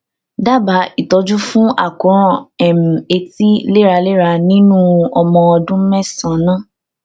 dábàá ìtọjú fún àkóràn um etí léraléra nínú ọmọ ọdún mẹsànán